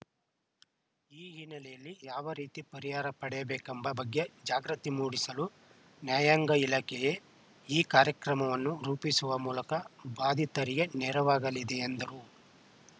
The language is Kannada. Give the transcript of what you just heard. ಈ ಹಿನ್ನೆಲೆಯಲ್ಲಿ ಯಾವ ರೀತಿ ಪರಿಹಾರ ಪಡೆಯಬೇಕೆಂಬ ಬಗ್ಗೆ ಜಾಗೃತಿ ಮೂಡಿಸಲು ನ್ಯಾಯಾಂಗ ಇಲಾಖೆಯೇ ಈ ಕಾರ್ಯಕ್ರಮವನ್ನು ರೂಪಿಸುವ ಮೂಲಕ ಬಾಧಿತರಿಗೆ ನೆರವಾಗಲಿದೆ ಎಂದರು